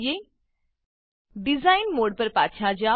design design mode પર પાછા જાવ